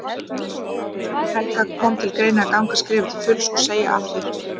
Guðný Helga: Kom til greina að ganga skrefið til fulls og, og segja af þér?